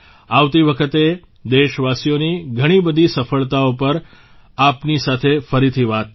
આવતી વખતે દેશવાસીઓની ઘણી બધી સફળતાઓ પર આપની સાથે ફરીથી વાત થશે